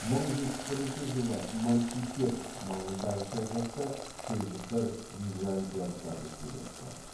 мың жетпіс бірінші жылы манцикерт маңындағы шайқаста селжұқтар византиялықтарды күйретті